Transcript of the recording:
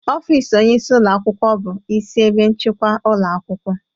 Ọfịs onye isi ụlọ akwụkwọ bụ isi ebe nchịkwa ụlọ akwụkwọ.